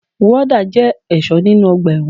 Wọ́dà jẹ́ ẹ̀ṣọ́ nínu ọgbà ẹ̀wọ̀n